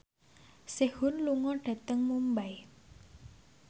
Sehun lunga dhateng Mumbai